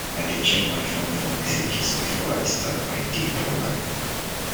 i dey check my phone for messages before i start my day properly.